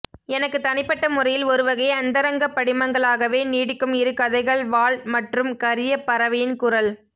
எனக்கு தனிப்பட்ட முறையில் ஒருவகை அந்தரங்கப்படிமங்களாகவே நீடிக்கும் இருகதைகள் வாள் மற்றும் கரியபறவையின் குரல்